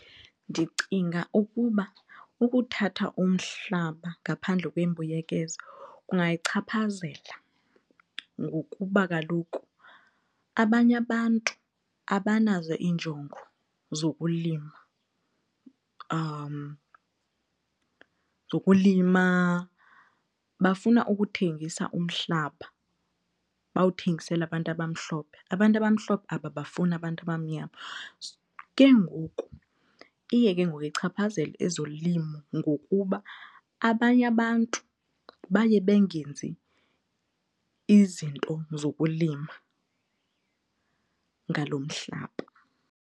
Ndicinga ukuba ukuthatha umhlaba ngaphandle kwembuyekezo kungayichaphazela ngokuba kaloku abanye abantu abanazo iinjongo zokulima, zokulima bafuna ukuthengisa umhlaba bawuthengisele abantu abamhlophe. Abantu abamhlophe ababafuni abantu abamnyama. Ke ngoku iye ke ngoku ichaphazele ezolimo ngokuba abanye abantu baye bengenzi izinto zokulima ngalo mhlaba.